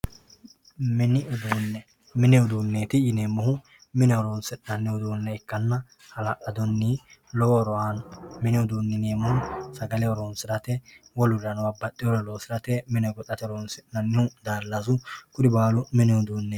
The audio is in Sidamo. mini uduunne mini uduunneeti yineemmohu mine horonsi'nanni uduunne ikkanna hala'ladunni lowo horo aanno mini uduunne yineemmohu sagale horonsirate wolurirano babbaxxeyoorira loosirate mine goxate horonsi'nannihu daallasu kuni baalu mini uduunneeti